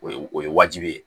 O ye o ye wajibi ye